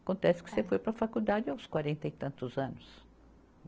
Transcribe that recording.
Acontece que você foi para a faculdade aos quarenta e tantos anos.